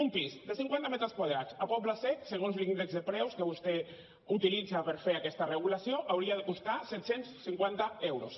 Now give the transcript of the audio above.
un pis de cinquanta metres quadrats a pobles sec segons l’índex de preus que vostè utilitza per fer aquesta regulació hauria de costar set cents i cinquanta euros